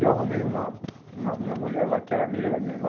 E eu arrumei uma uma uma mulher lá que era amiga da minha irmã.